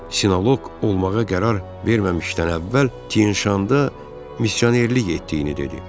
Sinoloq olmağa qərar verməmişdən əvvəl Tşanda missionerlik etdiyini dedi.